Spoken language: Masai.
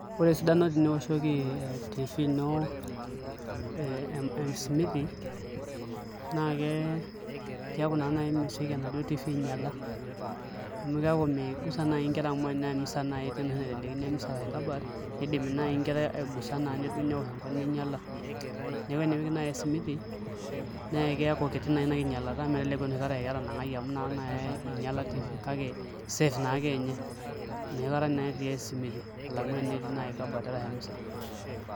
Ore esidano tenioshoki TV ino esimiti naa keeku naa mesioki enaduo TV ainyiala amu keeku migusa naai nkera amu tenaa emisa naai etii ashu enoshi naiteleikini kabaat niidim naai aigusa neosh enkop ninyiala, neeku inipik naai esimiti naa keeku kiti naa ina kinyialata meteleku akeeku enoshi kata aa eketanang'aki amu ina kata naa eeku inyiala TV kake safe naa ake ninye enoshi kata naa etii esimiti alang'u enetii naai kabaat arashu emisa.